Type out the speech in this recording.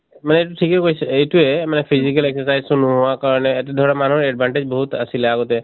মানে এইটো ঠিকেই কৈছে, এইটোৱেই মানে physical exercise তো নোহোৱা কাৰণে , এটা ধৰক মানুহৰ advantage বহুত আছিলে আগতে